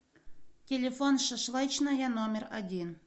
телефон шашлычная номер один